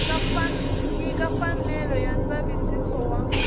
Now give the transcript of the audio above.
nyika mfanelo ya ndzavisiso wa